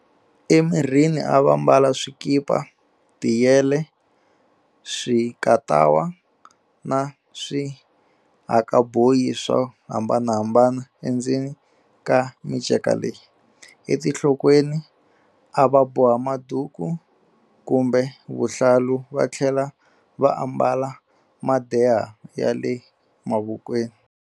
Emirini a va mbala swikipa, tiyele, swikatawa na swihakaboyi swo hambanahambana endzeni ka minceka leyi. Etinhlokweni a va boha maduku kumbe vuhlalu va tlhela va ambala madeha ya le mavokweni.